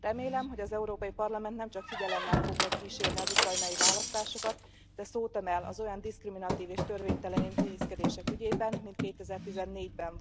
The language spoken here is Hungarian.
Remélem, hogy az Európai Parlament nemcsak figyelemmel fogja kísérni az ukrajnai választásokat, de szót emel az olyan diszkriminatív és törvénytelen intézkedések ügyében, mint 2014 ben,